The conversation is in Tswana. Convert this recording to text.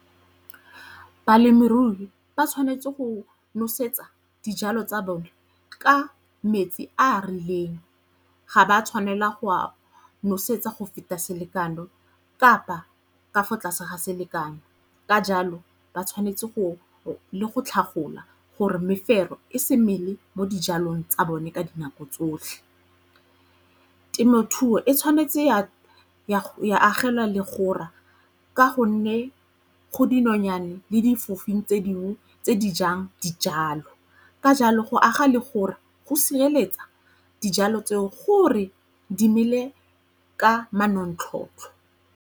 Balemirui ba tshwanetse go nosetsa dijalo tsa bone ka metsi a a rileng. Ga ba tshwanela go nosetsa go feta selekano kapa ka fo tlase ga selekanyo ka jalo ba tshwanetse le go tlhagolwa gore mefero e se mele mo dijalong tsa bone ka dinako tsotlhe. Temothuo e tshwanetse ya agelwa legora ka gonne go dinonyane le difofing tse dingwe tse di jang dijalo ka jalo go aga le gore go sireletsa dijalo tseo gore di mele ka manontlhotlho.